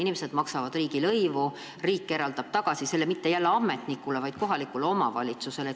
Inimesed maksavad riigilõivu ja riik annab selle tagasi kohalikule omavalitsusele, mitte ametnikule.